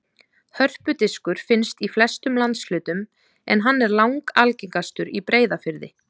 Hörpudiskur finnst í flestum landshlutum en hann er langalgengastur í Breiðafirði.